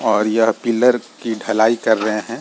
और यह पिलर की ढलाई कर रहे हैं।